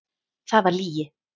Það var lygi.